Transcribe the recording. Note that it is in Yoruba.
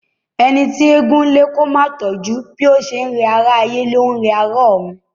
Ẹni tí eégún ń lé kó máa tọjú, bó ti n rẹ ará ayé ní rẹ ará òrun.